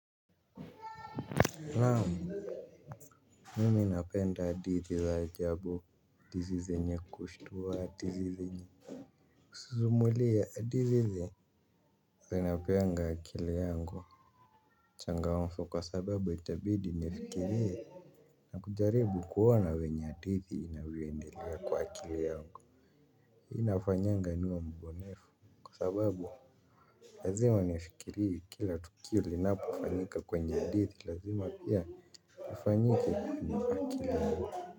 Naam, mimi napenda hadithi za ajabu, hadithi zenye kushtua hadithi zenye kusimulia hadithi zenye wanapeanga akili yango. Uchangamfu kwa sababu itabidi nifikirie na kujaribu kuona venye hadithi inavyoendelea kwa akili yangu. Inafanyanga niwe mbunifu kwa sababu lazima nifikirie kila tukio linapofanyika kwenye hadithi lazima pia kifanyike kwenye akili yangu.